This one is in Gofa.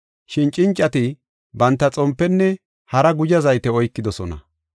Shin cincati banta xompenne hara guzha zayte oykidosona.